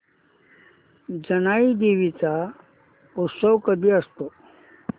जानाई देवी चा उत्सव कधी असतो